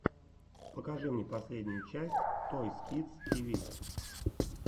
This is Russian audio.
покажи мне последнюю часть тойс кидс ти ви